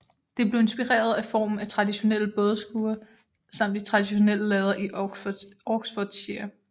Det blev inspireret af formen af traditionelle bådeskure samt de traditionelle lader i Oxfordshire